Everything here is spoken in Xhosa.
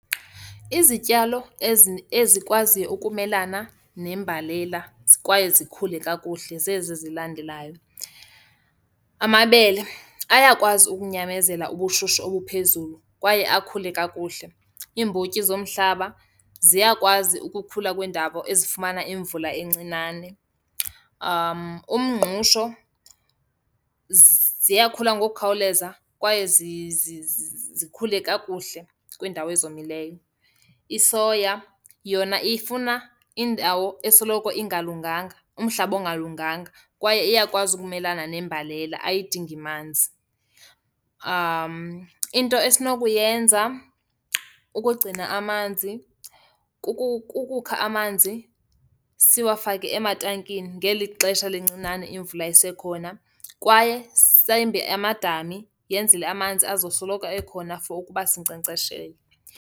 Izityalo ezikwaziyo ukumelana nembalela kwaye zikhule kakuhle zezi zilandelayo, amabele ayakwazi ukunyamezela ubushushu obuphezulu kwaye akhule kakuhle. Iimbotyi zomhlaba ziyakwazi ukukhula kwindawo ezifumana imvula encinane. Umngqusho ziyakhula ngokukhawuleza kwaye zikhule kakuhle kwiindawo ezomileyo. Isoya, yona ifuna indawo esoloko ingalunganga, umhlaba okungalunganga kwaye iyakwazi ukumelana nembalela, ayidingi amanzi. Into esinokuyenza ukugcina amanzi kukukha amanzi siwafake ematankini ngeli xesha lincinane imvula isekhona kwaye sembe amadami yenzele amanzi azosoloko ekhona for ukuba sinkcenkceshele.